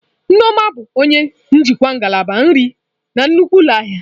Nneoma bụ onye njikwa ngalaba nri na nnukwu ụlọ ahịa.